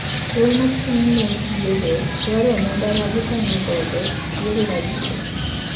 Duol mochung` ne yiero dwaro omenda magitagodo yiero mabiro